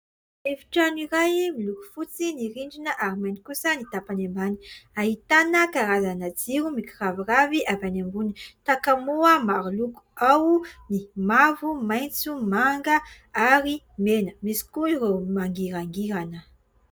Efitrano iray, miloko fotsy ny rindrina ary mainty kosa ny tapany ambany. Ahitana karazana jiro mikiraviravy avy any ambony. Takamoa maro loko : ao ny mavo, maitso, manga ary mena. Misy koa ireo mangirangirana.